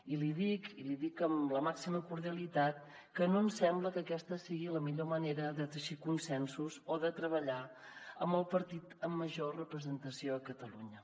i li dic i l’hi amb la màxima cordialitat que no ens sembla que aquesta sigui la millor manera de teixir consensos o de treballar amb el partit amb major representació a catalunya